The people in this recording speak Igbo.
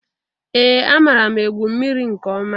Ee! Amaara m egwu mmiri nke ọma.